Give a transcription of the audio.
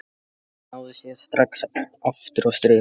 En hann náði sér strax aftur á strik.